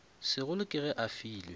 segolo ke ge a filwe